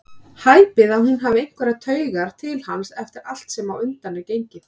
Hæpið að hún hafi einhverjar taugar til hans eftir allt sem á undan er gengið.